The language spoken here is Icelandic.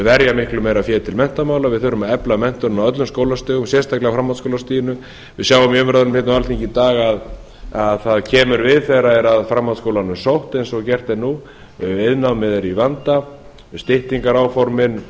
verja miklu meira fé til menntamála við þurfum að efla menntunina á öllum skólastigum sérstaklega á framhaldsskólastiginu við sjáum í umræðum hérna á alþingi í dag að það kemur við þegar er að framhaldsskólanum sótt eins og gert er nú iðnnámið er í vanda styttingaráformin